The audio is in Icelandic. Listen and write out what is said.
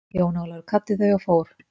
Jón Ólafur kvaddi þau og fór.